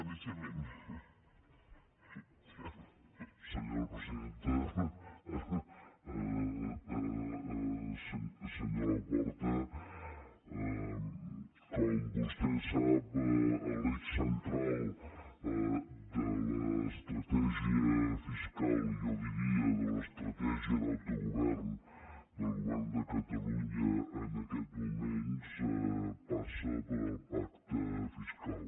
senyor laporta com vostè sap l’eix central de l’estratègia fiscal i jo diria de l’estratègia d’autogovern del govern de catalunya en aquests moments passa pel pacte fiscal